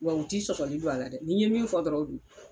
Wa u t'i sɔsɔli don a la dɛ, ni ye min fɔ dɔrɔn o don.